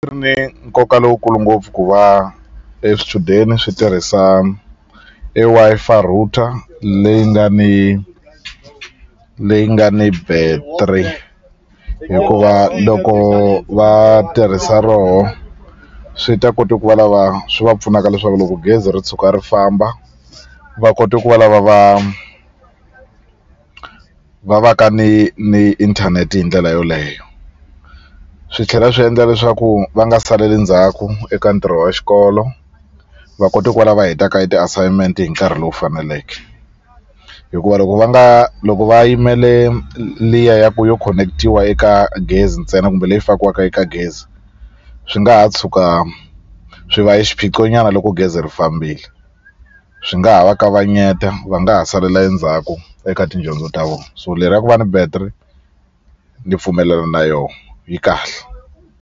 Ri ni nkoka lowukulu ngopfu ku va e swichudeni swi tirhisa e Wi-Fi router leyi nga ni leyi nga ni battery hikuva loko va tirhisa roho swi ta kota ku va lava swi va pfunaka leswaku loko gezi ri tshuka ri famba va kote ku va lava va va va ka ni ni inthanete hi ndlela yoleyo swi tlhela swi endla leswaku va nga saleli ndzhaku eka ntirho wa xikolo va kote ku va lava hetaka e ti-assignment hi nkarhi lowu faneleke hikuva loko va nga loko va yimele liya ya ku yo khonekitiwa eka gezi ntsena kumbe leyi fakiwaka eka gezi swi nga ha tshuka swi va e xiphiqo nyana loko gezi ri fambile swi nga ha va kavanyeta va nga ha salela endzhaku eka tidyondzo ta vona so le ra ku va ni battery ni pfumelela na yo yi kahle.